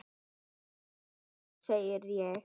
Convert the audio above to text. Góða nótt, segi ég.